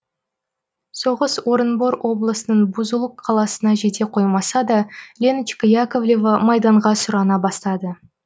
соғыс орынбор облысының бузулук қаласына жете қоймаса да леночка яковлева майданға сұрана бастады